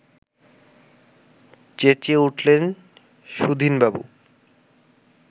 চেঁচিয়ে উঠলেন সুধীনবাবু